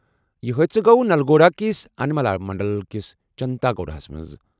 یہِ حٲدثہٕ گوٚو نلگونڈا کِس انملا منڈل کِس چنتاگوڈاہَس منٛز۔